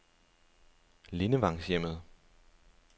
Lindevangshjemmet